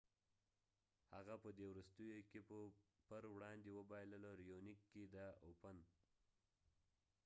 هغه په دې وروستیو کې په brisbane open کې د raonic پر وړاندې وبایلله